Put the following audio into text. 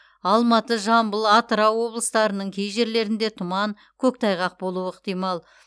алматы жамбыл атырау облыстарының кей жерлеріңде тұман көктайғақ болуы ықтимал